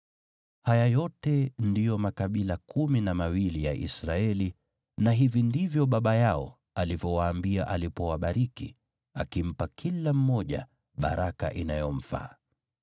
Haya yote ndiyo makabila kumi na mawili ya Israeli, na hivi ndivyo baba yao alivyowaambia alipowabariki, akimpa kila mmoja baraka inayomfaa.